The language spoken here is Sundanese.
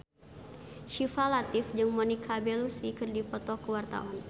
Syifa Latief jeung Monica Belluci keur dipoto ku wartawan